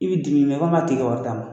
I bɛ di min ib'a fo ka tigi ka wari d' ma.